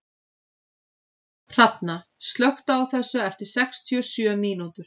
Hrafna, slökktu á þessu eftir sextíu og sjö mínútur.